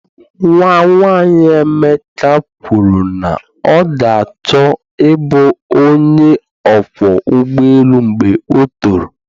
Nwa nwanyị Emeka kwuru na ọ ga-achọ ịbụ onye ọkwọ ụgbọ ala mgbe ọ toro.